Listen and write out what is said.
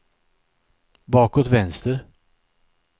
bakåt vänster